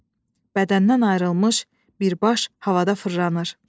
Bədəndən ayrılmış bir baş havada fırlanır.